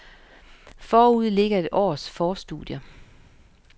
Forude ligger et års forstudier.